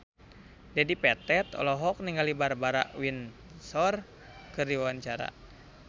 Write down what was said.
Dedi Petet olohok ningali Barbara Windsor keur diwawancara